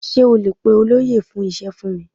Sé o lè pe olóyè fún ise fún mi?